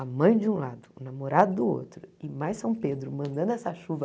A mãe de um lado, o namorado do outro e mais São Pedro mandando essa chuva.